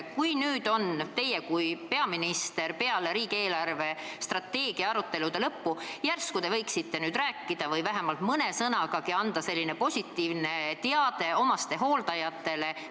Kas teie kui peaminister võiksite peale riigi eelarvestrateegia arutelude lõppu vähemalt mõne lausega anda positiivse sõnumi omastehooldajatele?